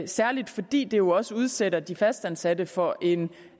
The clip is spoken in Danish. særlig fordi det jo også udsætter de fastansatte for en